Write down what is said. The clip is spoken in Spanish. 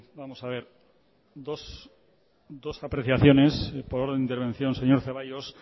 dos apreciaciones por orden de intervención señor zaballos